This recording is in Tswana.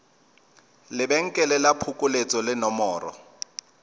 lebenkele la phokoletso le nomoro